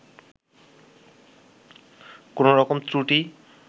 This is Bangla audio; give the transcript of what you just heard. কোন রকম ত্রুটি